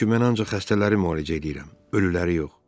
Çünki mən ancaq xəstələri müalicə eləyirəm, ölüləri yox.